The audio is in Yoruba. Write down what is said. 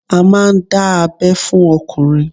A máà ń dá abẹ́ fún ọkùnrin